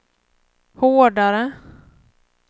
hårdare